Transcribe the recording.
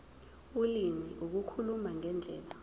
ulimi ukukhuluma ngendlela